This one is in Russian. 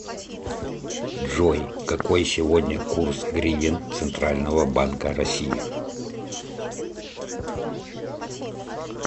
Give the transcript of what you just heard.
джой какой сегодня курс гривен центрального банка россии